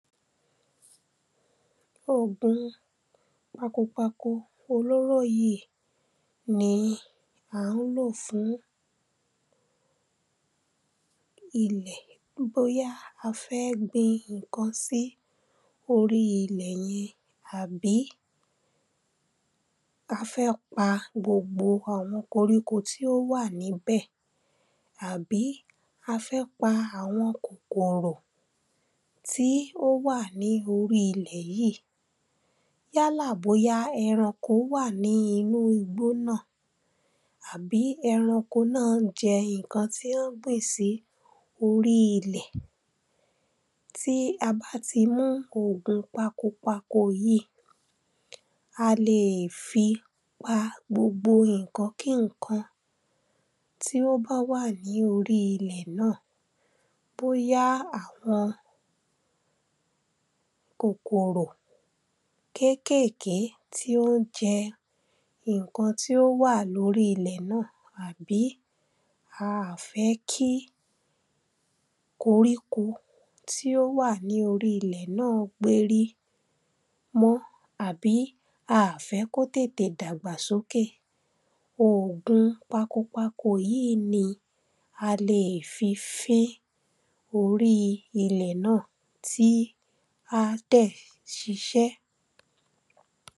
òogùn pakopako olóró yí ni à ń lò fún ilẹ̀ bóyá a fẹ́ gbin ǹkan sí orí ilẹ̀ yẹn àbí a fẹ́ pa gbogbo àwọn koríko tí ó wà níbẹ̀ àbí a fẹ́ pa àwọn kòkòrò tí ó wà ní orí ilẹ̀ yíì yálà bóyá ẹranko wà nínú igbó náà àbí ẹranko náà ń jẹ ǹkan tí wọ́n gbìn sí orí ilẹ̀ tí a bá tí mú ògùn pakopako yíì a leè fi pa gbogbo ǹkan kí ǹkan tí ó bá wà ní orí ilẹ̀ náà bóyá àwọn kòkòrò kékèké tí ó ń jẹ ǹkan tí ó wà ní orí ilẹ̀ náà àbí a à fẹ́ kí koríko tí ó wà ní orí ilẹ̀ náà gbérí mọ́ àbí a à fẹ́ kó tètè dàgbà sókè ògùn pakopako yíì ní a lè fi fín orí ilẹ̀ náà tí á dẹ̀ ṣiṣẹ́